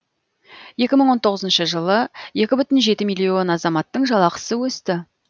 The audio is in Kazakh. екі мың он тоғызыншы жылы екі бүтін жеті миллион азаматтың жалақысы өсті